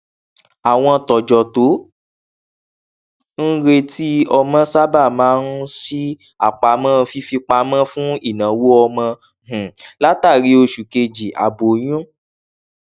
àwọn tọjọ tó ń retí ọmọ sábà máa ń ṣí àpamọ fífipamọ fún ináwó ọmọ um látàrí oṣù kejì aboyún